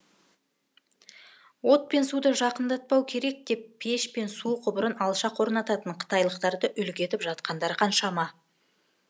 от пен суды жақындатпау керек деп пеш пен су құбырын алшақ орнататын қытайлықтарды үлгі етіп жатқандар қаншама